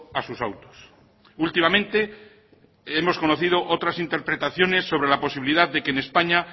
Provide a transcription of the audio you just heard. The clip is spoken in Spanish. a sus autos últimamente hemos conocido otras interpretaciones sobre la posibilidad de que en españa